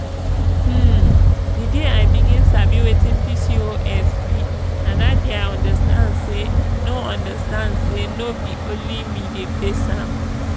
hmm the day i begin sabi wetin pcos be na that day i understand say no understand say no be only me dey face am.